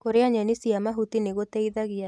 Kurĩa nyeni cia mahuti nĩ gũteithagia